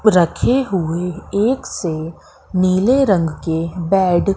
रखी हुए एक से नीले रंग के बैड --